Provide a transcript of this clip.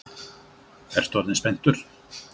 Ertu orðinn spenntur?